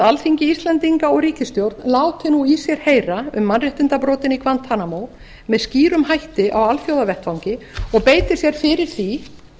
alþingi íslendinga og ríkisstjórn láti nú í sér heyra um mannréttindabrotin í guantanamo með skýrum hætti á alþjóðavettvangi og beiti sér fyrir því